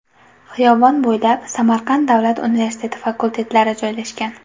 Xiyobon bo‘ylab Samarqand Davlat universiteti fakultetlari joylashgan.